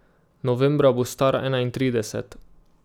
Novembra bo star enaintrideset.